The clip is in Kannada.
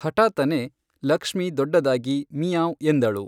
ಹಠಾತ್ತನೇ, ಲಕ್ಷ್ಮೀ ದೊಡ್ಡದಾಗಿ 'ಮಿಯಾಂವ್' ಎಂದಳು.